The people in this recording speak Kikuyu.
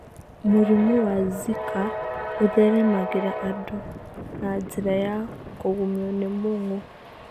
Mũrimũ wa Zika ũtheremagĩra andũ na njĩra ya kũgumio nĩ mũng'ũ.